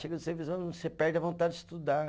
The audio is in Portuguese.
Chega do serviço, você perde a vontade de estudar.